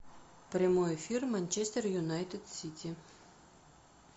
прямой эфир манчестер юнайтед сити